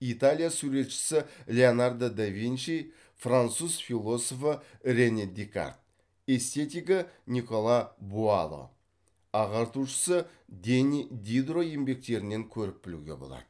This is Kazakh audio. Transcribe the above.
италия суретшісі леонардо да винчи француз философы рене декарт эстетигі никола буало ағартушысы дени дидро еңбектерінен көріп білуге болады